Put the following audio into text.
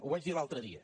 ho vaig dir l’altre dia